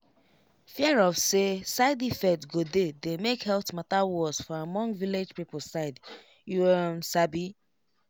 fear of say side effect go dey dey make health matter worse for among village people side you um sabi